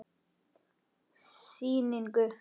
Sýningu lýkur.